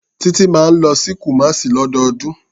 Títí máa ń lọ sí Kumasi lọ́dọọdún.